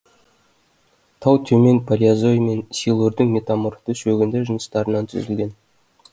тау төмен палеозой мен силурдың метаморфты шөгінді жыныстарынан түзілген